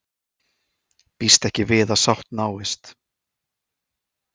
Býst ekki við að sátt náist